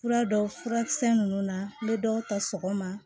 Fura dɔw furakisɛ minnu na n bɛ dɔw ta sɔgɔma